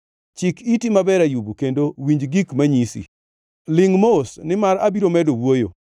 “Chik iti maber, Ayub, kendo winj gik manyisi; lingʼ mos, nimar abiro medo wuoyo.